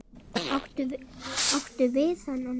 Áttu við þennan?